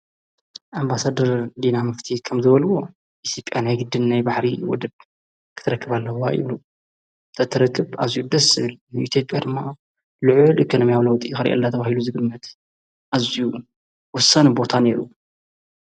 ኣባሰድር ዲና ምፍቲት ከም ዘበልዎ ኢስጴኤና ይ ግድን ናይ ባሕሪ ወድብ ክትረክብ ኣለዋ ኢሉ ተተረክብ ኣዙይ ደስል ሚዩሴት በርማ ልዑ ል ኸነመ ያውለወጢ ኸሪየላ ታብሂሉ ዝግመት ኣዙ ወሰን ቦታ ነይሩ።